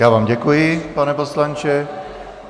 Já vám děkuji, pane poslanče.